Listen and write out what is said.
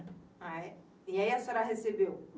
E aí a senhora recebeu?